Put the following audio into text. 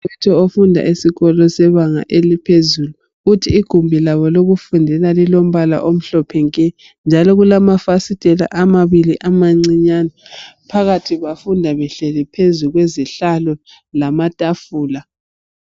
Umfundi ofunda ebanga eliphezulu uthi igumbi labo lokufundela lilombala omhlophe nke njalo kulamafasiteli amabili amacinyane phakathi bafunda behleli phezu kwesihlalo lamatufula.